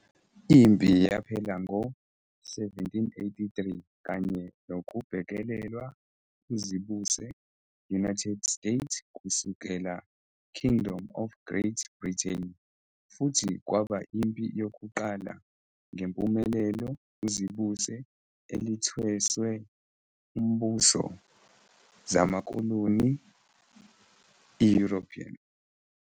Impi yaphela ngo 1783 kanye nokubhekelelwa uzibuse-United States kusukela Kingdom of Great Britain, futhi kwaba impi yokuqala ngempumelelo uzibuse elithweswe umbuso zamakoloni European.